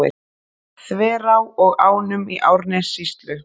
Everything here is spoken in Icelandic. Þverá og ánum í Árnessýslu.